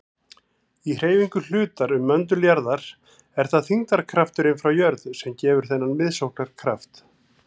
Í hreyfingu hlutar um möndul jarðar er það þyngdarkrafturinn frá jörð sem gefur þennan miðsóknarkraft.